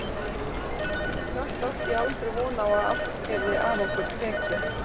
En samt átti ég aldrei von á að allt yrði af okkur tekið.